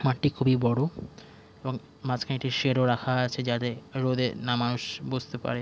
মাটি খুবই বড় এবং মাঝখানে একটি শেড ও রাখা আছে যাদে রোদে না মানুষ বসতে পারে।